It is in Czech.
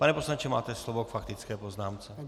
Pane poslanče, máte slovo k faktické poznámce.